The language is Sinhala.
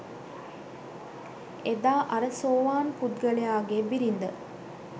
එදා අර සෝවාන් පුද්ගලයාගේ බිරිඳ